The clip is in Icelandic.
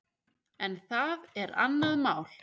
En það er annað mál.